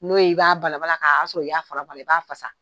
N'o ye i b'a bala bala a y'a sɔrɔ ka a y'a fara bɔ a la, i b'a fasa.